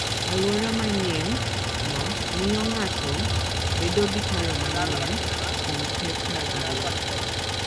Alwora manyienno miyo ng'ato bedo gi paro manyien kuom pek mag ngima.